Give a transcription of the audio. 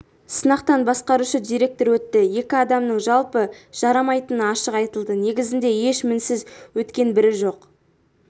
сынақтан басқарушы директор өтті екі адамның жалпы жарамайтыны ашық айтылды негізінде еш мінсіз өткен бірі жоқ